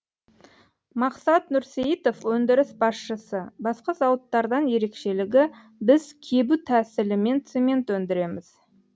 мақсат нұрсейітов өндіріс басшысы басқа зауыттардан ерекшелігі біз кебу тәсілімен цемент өндіреміз